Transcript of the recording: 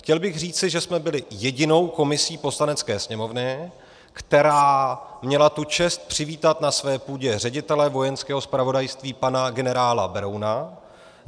Chtěl bych říci, že jsme byli jedinou komisí Poslanecké sněmovny, která měla tu čest přivítat na své půdě ředitele Vojenského zpravodajství pana generála Berouna.